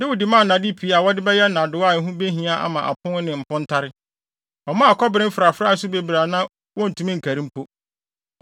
Dawid maa nnade pii a wɔde bɛyɛ nnadewa a ɛho behia ama apon ne mpontare. Ɔmaa kɔbere mfrafrae nso bebree a na wontumi nkari mpo.